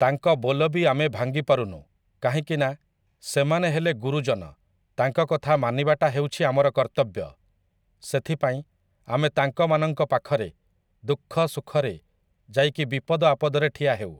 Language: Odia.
ତାଙ୍କ ବୋଲ ବି ଆମେ ଭାଙ୍ଗିପାରୁନୁ କାହିଁକି ନା, ସେମାନେ ହେଲେ ଗୁରୁଜନ ତାଙ୍କ କଥା ମାନିବାଟା ହେଉଛି ଆମର କର୍ତ୍ତବ୍ୟ । ସେଥିପାଇଁ ଆମେ ତାଙ୍କମାନଙ୍କ ପାଖରେ ଦୁଖଃ ସୁଖରେ ଯାଇକି ବିପଦ ଆପଦରେ ଠିଆ ହେଉ ।